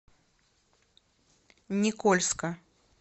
никольска